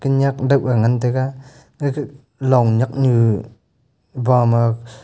khanyak dau ga ngantaga ya kha long nyak nu ba ma--